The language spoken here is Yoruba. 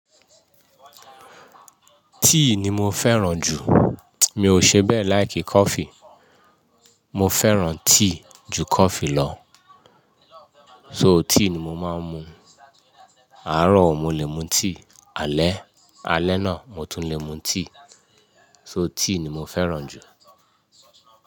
Tíì ni mo fẹ́ràn jù. Mi ò ṣe bẹ́ẹ̀ like kọ́fì. Mo fẹ́ràn tíì ju kọ́fì lọ. So tea ni mo máa ń mu. Àárọ̀ mo lè mu tíì, alẹ́, alẹ́ náà mo tún lè mu tíì. So tea ni mo fẹ́ràn jù.